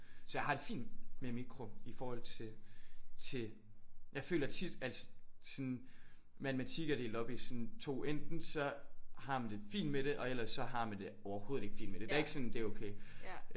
Så jeg har det fint med mikro i forhold til til jeg føler tit at sådan matematik er delt op i sådan 2. Enten så har man det fint med det og ellers så har man det overhovedet ikke fint med det. Det er ikke sådan det er okay